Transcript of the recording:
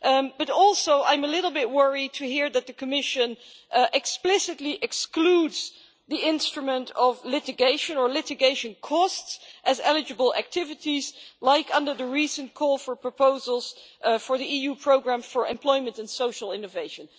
But I am also a little bit worried to hear that the Commission explicitly excludes the instrument of litigation or litigation costs as eligible activities, like under the recent call for proposals for the EU Programme for Employment and Social Innovation.